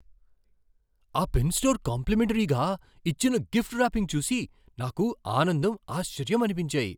ఆ pen store కాంప్లిమెంటరీగా ఇచ్చిన గిఫ్ట్ ర్యాపింగ్ చూసి నాకు ఆనందం, ఆశ్చర్యం అనిపించాయి.